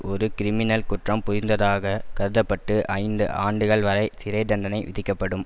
ஒரு கிரிமினல் குற்றம் புரிந்ததாக கத்தப்பட்டு ஐந்து ஆண்டுகள் வரை சிறை தண்டனை விதிக்கப்படும்